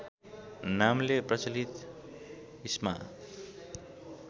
नामले प्रचलित ईस्मा